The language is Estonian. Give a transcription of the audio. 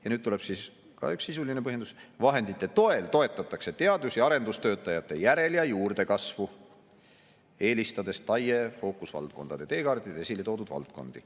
Ja nüüd tuleb siis ka üks sisuline põhjendus: vahendite toel toetatakse teadus‑ ja arendustöötajate järel‑ ja juurdekasvu, eelistades TAIE fookusvaldkondade teekaardil esile toodud valdkondi.